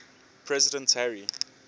president harry